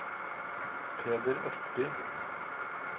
Peder Østby